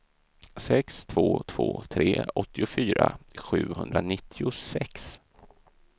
sex två två tre åttiofyra sjuhundranittiosex